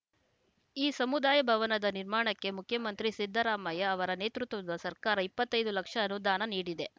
ಈ ಸಮುದಾಯ ಭವನದ ನಿರ್ಮಾಣಕ್ಕೆ ಮುಖ್ಯಮಂತ್ರಿ ಸಿದ್ದರಾಮಯ್ಯ ಅವರ ನೇತೃತ್ವದ ಸರ್ಕಾರ ಇಪ್ಪತ್ತೈದು ಲಕ್ಷ ಅನುದಾನ ನೀಡಿದೆ